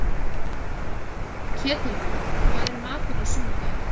Ketilríður, hvað er í matinn á sunnudaginn?